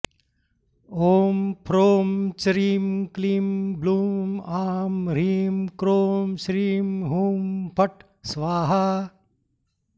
ॐ फ्रों च्रीं क्लीं ब्लूं आं ह्रीं क्रों श्रीं हुं फट् स्वाहा